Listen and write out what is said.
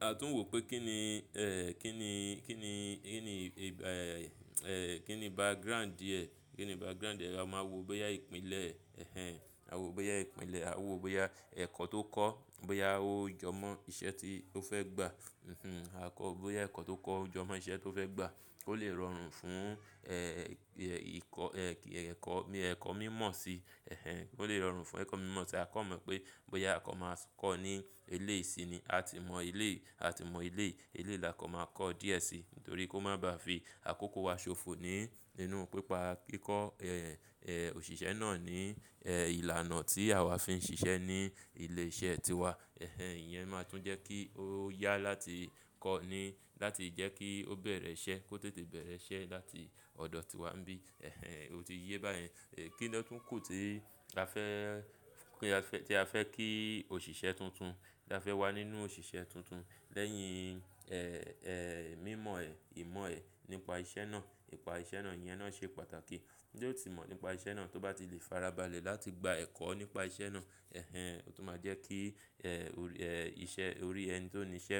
a tún wò pé kín ni, ẹ́ kín ni, kín ni, kín ni ẹ́ ẹ́ kín ni background rẹ̀, kín ni background rẹ̀. A máa wo bóyá ìpìlẹ̀. Ẹ̀hẹn, a wo bóyá ìpìlẹ̀, a wo bóyá ẹ̀kọ́ tó kọ́, bóyá ó jọ mọ́ iṣẹ́ tí ó fẹ́ gbà. Hinhin, a kọ́ bóyá ẹ̀kọ́ tó kọ́ ó jọ mọ́ iṣẹ́ tó fẹ́ gbà. Ó lè rọrùn fún ẹ́ ìkọ́ ẹ́ ẹ̀kọ́, ẹ̀kọ́ mímọ̀ si. Ẹ̀hẹn, ó lè rọrùn fún ẹ̀kọ́ mímọ̀ tí a kọ̀n mọ̀ pé bóyá a kọ́ máa kọ́ ní eléyìí sí ni. A ti mọ eléyìí, a ti mọ eléyìí, eléyìí là kọ́n máa kọ́ díẹ̀ sí nítorí kó má bá fi àkókò wa ṣòfò nínú pípa kíkọ òṣìṣẹ́ náà ní ẹ́ ìlànà tí àwa fi ń ṣiṣẹ́ ní ilé iṣẹ́ tiwa. Ẹ̀hẹn, ìyẹn máa tún jẹ́ kí ó yá láti kọ́ ní láti jẹ́ kí ó bẹ̀rẹ̀ iṣẹ́, kó tètè bẹ̀rẹ̀ iṣẹ́ láti ọ̀dọ̀ tiwa nbí. Ẹ̀hẹn, o ti yé báyẹn. Ẹ̀ kín ni ó tún kù tí a fẹ́, tí a fẹ́ kí òṣìṣẹ́ tuntun tí a fẹ́ wà nínú òṣìṣẹ́ tuntun lẹ́yìn ẹ́ ẹ́ mímọ ẹ̀, ìmọ̀ ẹ̀ nípa iṣẹ́ náà, nípa iṣẹ́ náà. Ìyẹn náà ṣe pàtàkì. Bí ó ti mọ̀ nípa iṣẹ́ náà, tó bá ti lè farabalẹ̀ láti gba ẹ̀kọ́ nípa iṣẹ́ náà. Ẹ̀hẹn, ó tún máa jẹ́ kí iṣẹ́ orí ẹni tó ní iṣẹ́